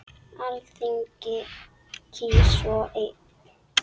Alþingi kýs svo einn.